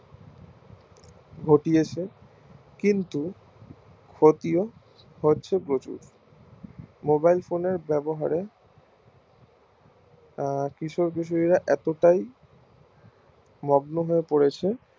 ঘটিয়েছে কিন্তু ক্ষতিও করছে প্রচুর mobilephone এর ব্যাবহারে কিশোর কিশোরীরা এতটাই মগ্ন হয় পড়েছে